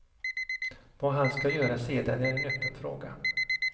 Vad han ska göra sedan är en öppen fråga.